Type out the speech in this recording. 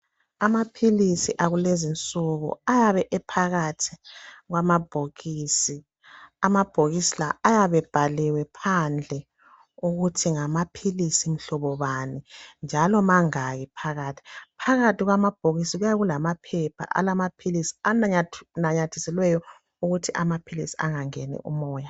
Amaphilisi akulezi insuku ayabe ephakathi kwamabhokisi, amabhokisi lawa ayabe ebhaliwe phandle ukuthi ngamaphilisi mhlobo bani njalo mangaki phakathi. Phakathi kwamabhokisi kuyabe kulamaphepha ananyathiselweyo ukuthi amaphilisi angangeni umoya.